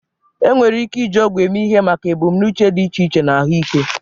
Enwere ike iji ọgwụ eme ihe maka ebumnuche dị iche iche na ahụike.